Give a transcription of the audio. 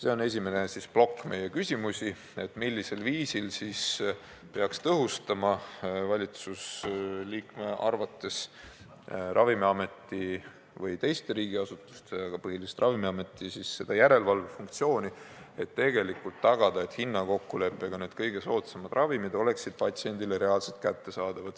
See on esimene plokk meie küsimusi: millisel viisil peaks valitsusliikme arvates tõhustama Ravimiameti või teiste riigiasutuste, põhiliselt siiski Ravimiameti järelevalve funktsiooni, tagamaks, et hinnakokkuleppega oleksid kõige soodsamad ravimid patsiendile reaalselt kättesaadavad.